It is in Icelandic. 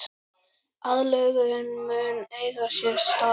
Aðlögun mun eiga sér stað.